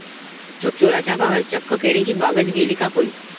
चोराचा कहर, चक्क केळीची बागच नेली कापून!